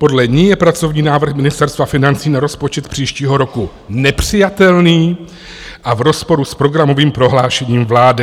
Podle ní je pracovní návrh Ministerstva financí na rozpočet příštího roku nepřijatelný a v rozporu s programovým prohlášením vlády.